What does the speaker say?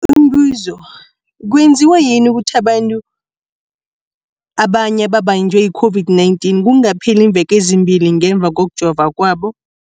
Umbuzo, kwenziwa yini ukuthi abanye abantu babanjwe yi-COVID-19 kungakapheli iimveke ezimbili ngemva kokujova kwabo?